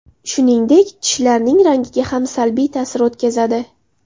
Shuningdek, tishlarning rangiga ham salbiy ta’sir o‘tkazadi.